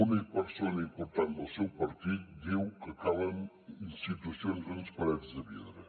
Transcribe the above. una persona important del seu partit diu que calen institucions amb parets de vidre